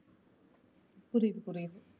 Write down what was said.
புரியிது புரியிது.